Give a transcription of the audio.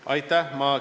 Aitäh!